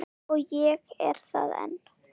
Og ég er það enn